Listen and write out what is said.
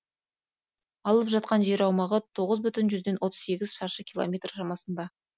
алып жатқан жер аумағы тоғыз бүтін отыз сегіз шаршы километр шамасында